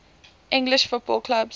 english football clubs